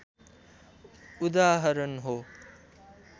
उदाहरण हो